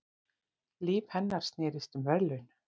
Líf hennar snerist um verðlaun.